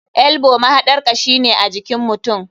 Elbow mahaɗar kashi ne ajikin mutum.